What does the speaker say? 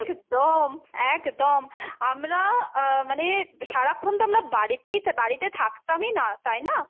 একদম, একদম আমরা আহ মানে সারাক্ষণ তো আমরা বাড়িতেই বাড়িতে থাকতামই না, তাই না?